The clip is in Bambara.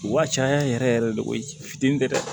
Wa caya yɛrɛ yɛrɛ de o ye fitini de ye dɛ